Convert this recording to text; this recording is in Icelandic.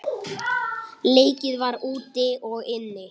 Leikið var úti og inni.